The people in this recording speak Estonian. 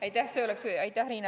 Aitäh, Riina!